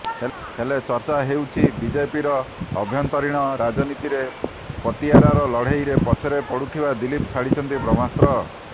ହେଲେ ଚର୍ଚ୍ଚା ହେଉଛି ବିଜେପିର ଆଭ୍ୟନ୍ତରୀଣ ରାଜନୀତିରେ ପତିଆରାର ଲଢେଇରେ ପଛରେ ପଡୁଥିବା ଦିଲ୍ଲୀପ ଛାଡିଛନ୍ତି ବ୍ରହ୍ମାସ୍ତ୍ର